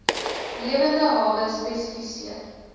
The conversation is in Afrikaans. lewende hawe spesifiseer